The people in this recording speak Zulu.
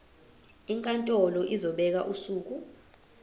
inkantolo izobeka usuku